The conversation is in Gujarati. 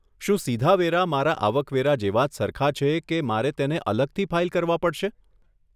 શું સીધા વેરા મારા આવક વેરા જેવાં સરખાં જ છે કે મારે તેને અલગથી ફાઈલ કરવા પડશે?